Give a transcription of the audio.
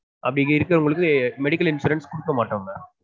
அப்டி இருக்குறவங்களுக்கு medical insurane குடுக்கமாடொம் mam